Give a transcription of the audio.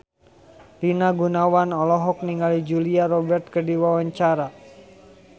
Rina Gunawan olohok ningali Julia Robert keur diwawancara